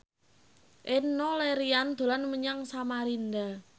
Enno Lerian dolan menyang Samarinda